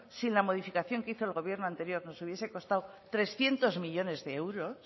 sin la modificación que hizo el gobierno anterior nos hubiese costado trescientos millónes de euros